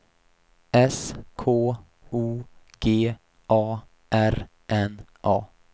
S K O G A R N A